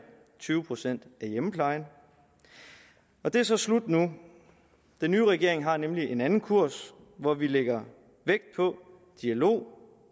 tyve procent af hjemmeplejen det er så slut nu den nye regering har nemlig en anden kurs hvor vi lægger vægt på dialog